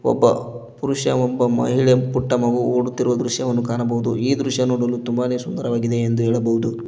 ಒಬ್ಬ ಪುರುಷ ಒಬ್ಬ ಮಹಿಳೆ ಪುಟ್ಟ ಮಗು ಒಡತಿರುವ ದೃಶ್ಯವನ್ನು ಕಾಣಬಹುದು ಈ ದೃಶ್ಯ ನೋಡಲು ತುಂಬಾನೇ ಸುಂದರವಾಗಿದೆ ಎಂದು ಹೇಳಬಹುದು.